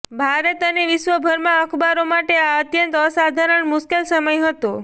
ભારત અને વિશ્વભરમાં અખબારો માટે આ અત્યંત અસાધારણ મુશ્કેલ સમય હતો